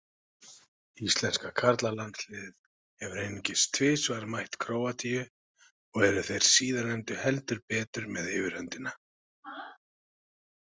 Íslenska karlalandsliðið hefur einungis tvisvar mætt Króatíu og eru þeir síðarnefndu heldur betur með yfirhöndina.